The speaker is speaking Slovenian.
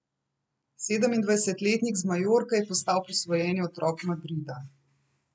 Sedemindvajsetletnik z Majorke je postal posvojeni otrok Madrida.